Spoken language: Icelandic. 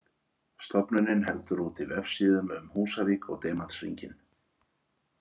Stofnunin heldur úti vefsíðum um Húsavík og Demantshringinn.